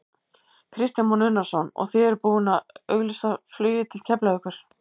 Kristján Már Unnarsson: Og þið eruð búinn að auglýsa flugið til Keflavíkur?